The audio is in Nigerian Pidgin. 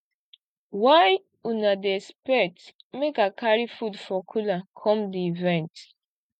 why una dey expect make i carry food for cooler come di event